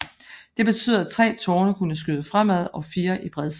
Det betød at tre tårne kunne skyde fremad og fire i bredsiden